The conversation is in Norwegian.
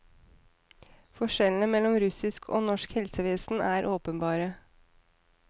Forskjellene mellom russisk og norsk helsevesen er åpenbare.